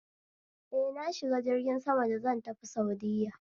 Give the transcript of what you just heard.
Eh, na shiga jirgin sama da zan tafi saudiya